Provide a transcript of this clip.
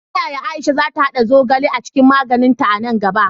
Ta yaya Aisha za ta haɗa zogale a cikin magininta a nan gaba?